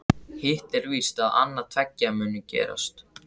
Hitt er víst að annað tveggja mun gerast.